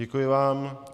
Děkuji vám.